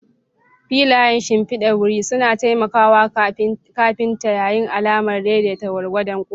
Filayen shimfidar wuri suna taimaka wa kafinta yin alamar daidai gwargwadon kofa.